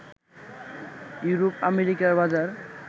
ইউরোপ-আমেরিকার বাজার